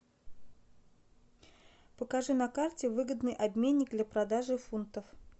покажи на карте выгодный обменник для продажи фунтов